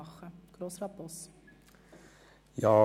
Kommissionssprecher der GSoK-Minderheit I.